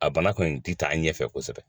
A bana kɔni ti taa ɲɛfɛ kosɛbɛ